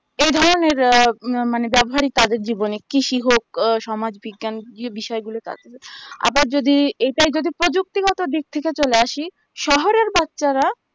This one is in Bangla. এই ধরণের আ মানে ব্যাবহারিক কাজের জীবনিক কৃষি হোক ও সমাজ বিজ্ঞান যে বিষয় গুলো তারপরে আবার যদি এটাই যদি প্রযুক্তি গত দিক থেকে চলে আসি শহরের বাচ্চারা